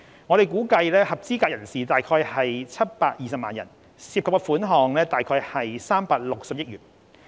我們估計合資格人士約有720萬人，涉及款項約360億元。